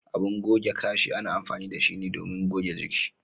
Abin goge Kashi ana amfani da shi ne domin goge jiki.